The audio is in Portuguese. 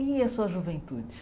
E a sua juventude?